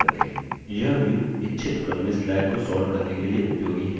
यह view इच्छित क्रम में slides को sort करने के लिए उपयोगी है